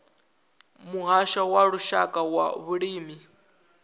muhasho wa lushaka wa vhulimi